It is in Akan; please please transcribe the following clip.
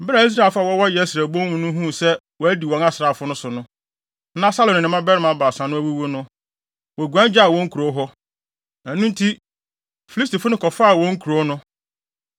Bere a Israelfo a wɔwɔ Yesreel bon no mu no huu sɛ wɔadi wɔn asraafo no so, na Saulo ne ne mmabarima baasa no awuwu no, woguan gyaa wɔn nkurow hɔ. Ɛno nti, Filistifo no kɔfaa wɔn nkurow no.